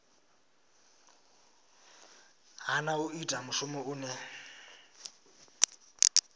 hana u ita mushumo une